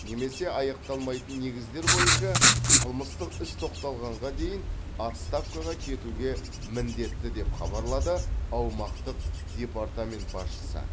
немесе аяқталмайтын негіздер бойынша қылмыстық іс тоқтатылғаннан кейін отставкаға кетуге міндетті деп хабарлады аумақтық департамент басшысы